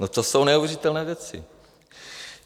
No, to jsou neuvěřitelné věci.